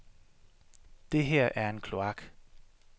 Det her er en kloak.